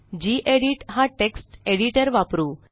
गेडीत हा text editor वापरू